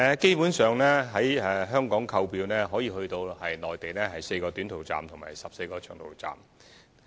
基本上，在香港可以購票前往內地4個短途站及14個長途站。